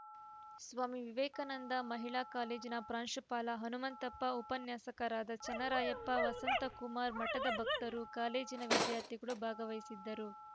ಸ್ವಾಮಿ ವಿವೇಕಾನಂದ ಮಹಿಳಾ ಕಾಲೇಜಿನ ಪ್ರಾಂಶುಪಾಲ ಹನುಮಂತಪ್ಪ ಉಪನ್ಯಾಸಕರಾದ ಚನ್ನರಾಯಪ್ಪ ವಸಂತಕುಮಾರ್‌ ಮಠದ ಭಕ್ತರು ಕಾಲೇಜಿನ ವಿದ್ಯಾರ್ಥಿಗಳು ಭಾಗವಹಿಸಿದ್ದರು